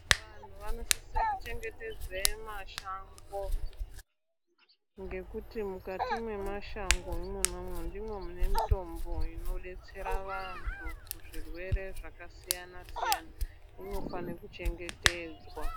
Vanhu vanosisisre kuchengetedza mashango ngekuti mukati mwemashango ndimo mune mitombo inodetsera vantu kuzvirwere zvakasiyana siyana inofanaire kuchengetedzwa.